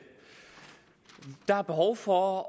er behov for